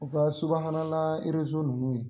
U ka subahana na ninnu ye